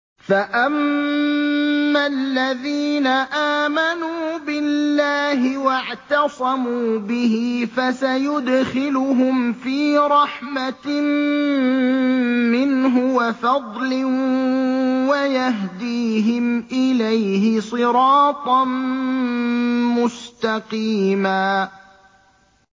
فَأَمَّا الَّذِينَ آمَنُوا بِاللَّهِ وَاعْتَصَمُوا بِهِ فَسَيُدْخِلُهُمْ فِي رَحْمَةٍ مِّنْهُ وَفَضْلٍ وَيَهْدِيهِمْ إِلَيْهِ صِرَاطًا مُّسْتَقِيمًا